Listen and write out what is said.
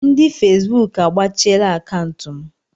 Ndị Fesbuk agbachiela akaụntụ m.